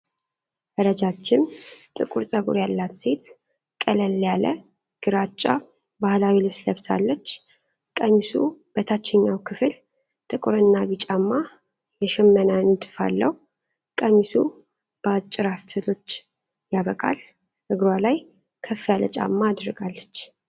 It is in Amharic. ረጃጅም ጥቁር ፀጉር ያላት ሴት ቀለል ያለ ግራጫ ባህላዊ ልብስ ለብሳለች። ቀሚሱ በታችኛው ክፍል ጥቁር እና ቢጫማ የሽመና ንድፍ አለው። ቀሚሱ በአጭር አፍትሎች ያበቃል። እግሯ ላይ ከፍ ያለ ጫማ አድርጋለች።